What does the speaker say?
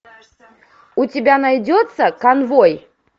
у тебя найдется конвой